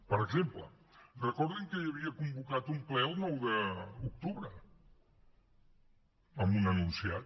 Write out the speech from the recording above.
per exemple recordin que hi havia convocat un ple el nou d’octubre amb un enunciat